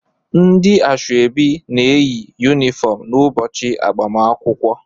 Ndị asọebi na-eyi yunifọm n'ụbọchị agbamakwụkwọ